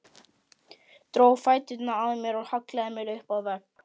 Dró fæturna að mér og hallaði mér upp að vegg.